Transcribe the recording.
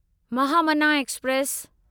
Mahamana express